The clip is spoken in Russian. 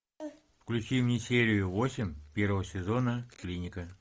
включи мне серию восемь первого сезона клиника